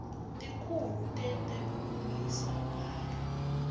tikhulu tetebulungiswa kanye